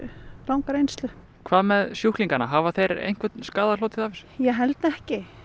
langa reynslu hvað með sjúklingana hafa þeir einhvern skaða hlotið af þessu ég held ekki